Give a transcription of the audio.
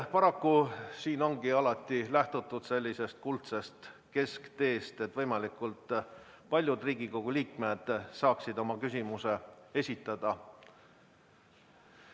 Paraku siin ongi alati lähtutud sellisest kuldsest keskteest, et võimalikult paljud Riigikogu liikmed saaksid oma küsimuse esitada.